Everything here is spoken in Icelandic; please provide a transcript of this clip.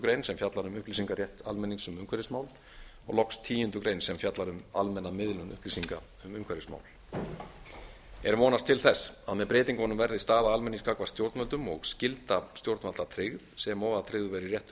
grein sem fjallar um upplýsingarétt almennings um umhverfismál og loks tíundu greinar sem fjallar um almenna miðlun upplýsinga um umhverfismál er vonast til þess að með breytingunum verði staða almennings gagnvart stjórnvöldum og skylda stjórnvalda tryggð sem og að tryggður verði réttur